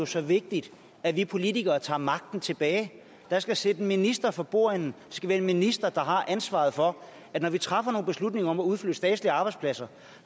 så vigtigt at vi politikere tager magten tilbage der skal sidde en minister for bordenden skal være en minister der har ansvaret for at når vi træffer nogle beslutninger om at udflytte statslige arbejdspladser